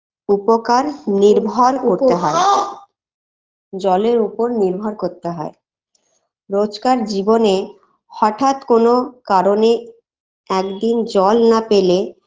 উপকার নির্ভর করতে হয়ে জলের উপর নির্ভর করতে হয় রোজকার জীবনে হঠাৎ কোনো কারণে একদিন জল না পেলে